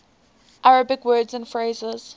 arabic words and phrases